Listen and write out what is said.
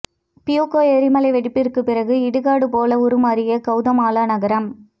Fuego எரிமலை வெடிப்பிற்கு பிறகு இடுகாடு போல உருமாறிய கவுதமாலா நகரம்